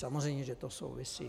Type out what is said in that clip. Samozřejmě, že to souvisí.